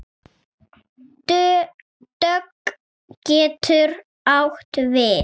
Dögg getur átt við